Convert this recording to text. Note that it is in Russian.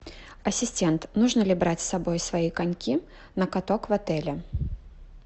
ассистент нужно ли брать с собой свои коньки на каток в отеле